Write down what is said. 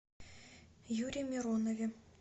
юре миронове